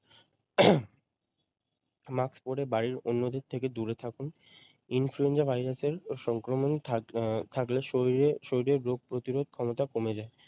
Mask পরে বাড়ির অন্যদের থেকে দূরে থাকুন। influenza virus এর সংক্রমণ থাক আহ থাকলে শরীরে শরীরের রোগ প্রতিরোধ ক্ষমতা কমে যাই।